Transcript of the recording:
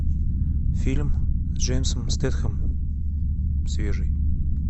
фильм с джейсоном стэтхэмом свежий